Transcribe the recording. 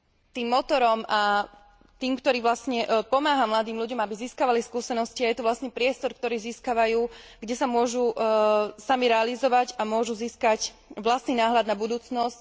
tým motorom a tým, čo pomáha mladým ľuďom, aby získavali skúsenosti, a je to vlastne priestor, ktorý získavajú, kde sa môžu sami realizovať a môžu získať vlastný náhľad na budúcnosť.